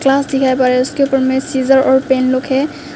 Scissor और pen लोग है।